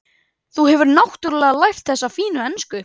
Þá hefurðu náttúrlega lært þessa fínu ensku!